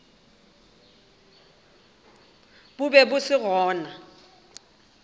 bo be bo se gona